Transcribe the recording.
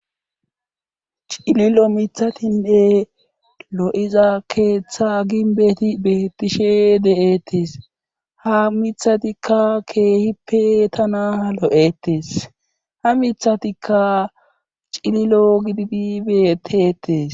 Cililo miiththatinne lo'iza keeththa ginbeti beettishe de'ttees haa miiththatikka keehippe tana lo'etees haa miiththatikka cililo gididi betteetes